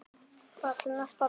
Þar til næst, pabbi minn.